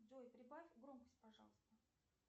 джой прибавь громкость пожалуйста